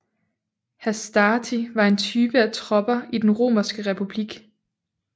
Hastati var en type af tropper i den romerske republik